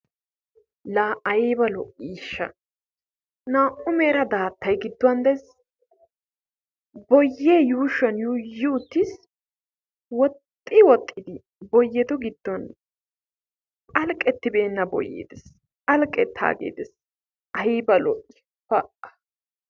Laa ayiba lo"iisha naa"u mera daattay gidduwan des. Boyye yuushuwan yuuyi uttis. Woxxi woxxidi boyettu giddon phalqetibeenna boyye des. Phalqetaagee des. Ayiiba lo"i pa!